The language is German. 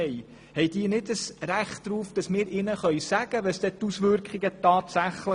Haben sie kein Recht darauf, dass wir ihnen die tatsächlichen Auswirkungen darlegen können?